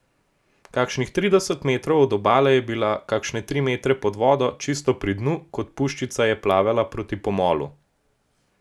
Kakšnih trideset metrov od obale je bila, kakšne tri metre pod vodo, čisto pri dnu, kot puščica je plavala proti pomolu.